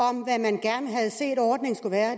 om hvad man gerne havde set ordningen skulle være